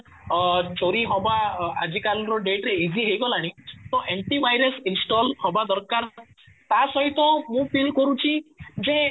ଅଂ ଚୋରି ହବା ଆଜି କାଲି ର date ରେ easy ହେଇଗଲାଣି ତ ଆଣ୍ଟି ଭାଇରସ install ହବା ଦରକାର ତା ସହିତ ମୁଁ feel କରୁଛି କି ଯେ